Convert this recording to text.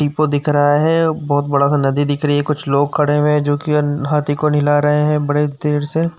दिख रहा है। बहोत बड़ा सा नदी दिख रही है। कुछ लोग खड़े हुए है जोकि न हाथी को निलाह रहे हैं बड़े देर से।